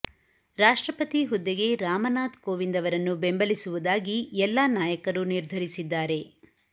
ರಾಷ್ಟ್ರಪತಿ ಹುದ್ದೆಗೆ ರಾಮನಾತ್ ಕೋವಿಂದ್ ಅವರನ್ನು ಬೆಂಬಲಿಸುವುದಾಗಿ ಎಲ್ಲಾ ನಾಯಕರು ನಿರ್ಧರಿಸಿದ್ದಾರೆ